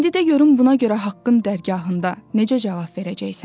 İndi də görüm buna görə haqqın dərgahında necə cavab verəcəksən?